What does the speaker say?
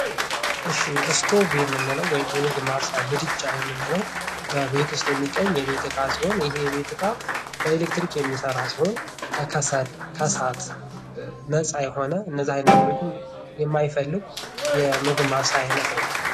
እሺ እስቶቭ የምንለው ወይም የምግብ ማብሰያ ምድጃ የምንለው በቤት ውስጥ የሚገኝ የቤት እቃ ሲሆን፤ ይሄ የቤት እቃ በኤሌክትሪክ የሚሠራ ሲሆን፤ ከሰል ከእሳት ነፃ የሆነ እነዚያ ነገሮችን የማይፈልግ የምግብ ማብሰያ ዓይነት ነው።